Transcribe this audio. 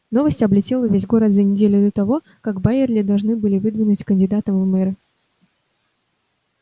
новость облетела весь город за неделю до того как байерли должны были выдвинуть кандидатом в мэры